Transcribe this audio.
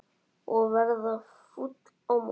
Og verða fúll á móti!